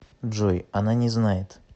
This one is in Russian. джой она не знает